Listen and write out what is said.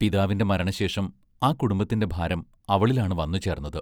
പിതാവിന്റെ മരണശേഷം ആ കുടുംബത്തിന്റെ ഭാരം അവളിലാണ് വന്നു ചേർന്നത്.